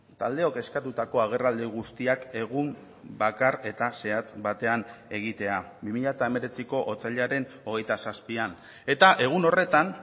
taldeok eskatutako agerraldi guztiak egun bakar eta zehatz batean egitea bi mila hemeretziko otsailaren hogeita zazpian eta egun horretan